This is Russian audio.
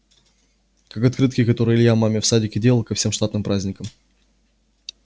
как открытки которые илья маме в садике делал ко всем штатным праздникам